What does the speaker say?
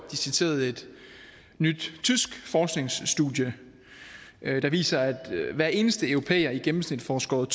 de citerede et nyt tysk forskningsstudie der viser at hver eneste europæer i gennemsnit får skåret